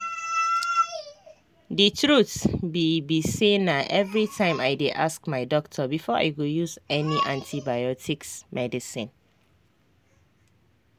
the truth be be sayna everytime i dey ask my doctor before i go use any antibiotics medicine